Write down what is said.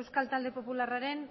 euskal talde popularraren